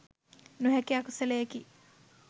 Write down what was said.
නොහැකි අකුසලයකි.